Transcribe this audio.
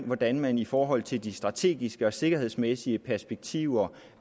hvordan man i forhold til de strategiske og sikkerhedsmæssige perspektiver